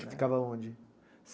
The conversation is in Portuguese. Ficava onde?